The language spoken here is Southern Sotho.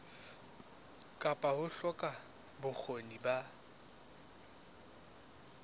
kapa ho hloka bokgoni ba